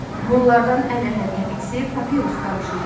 Bunlardan ən əhəmiyyətlisi papirus qamışı idi.